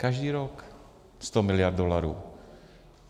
Každý rok 100 miliard dolarů.